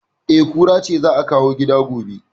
E, kura ce za a kawo gida gobe